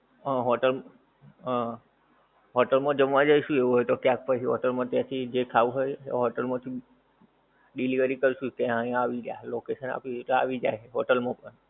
હા hotel hotel મા જમવા જઈશું એવું હોય તો ક્યાંક પછી hotel મા જે ખાવું હોય તે hotel માંથી delivery કરીશું ત્યાં અહી આવી જશે location આપીશું તો આવી જાએ hotel ઉપર